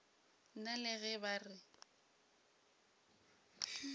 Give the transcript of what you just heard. nna le ge ba re